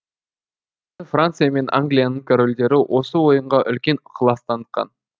франция мен англияның корольдері осы ойынға үлкен ықылас танытқан